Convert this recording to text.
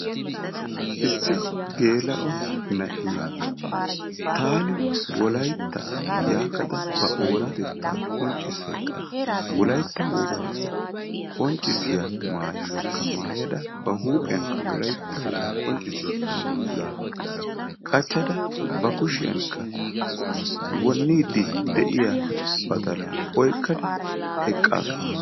Issi geela'o na'iyaa taani wolaytta yaagada ba oonatetaa qonccisayidda wolaytta wogaa qonccissiya maayuwakka maayada ba huuphiyankka wolaytta wogaa qonccissiya dunguza qachchada ba kushiyankka wonniidi de'iya badalaa oykkada eqaasu.